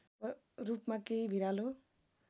रूपमा केही भिरालो